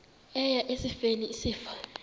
eya esifeni isifo